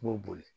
I b'o boli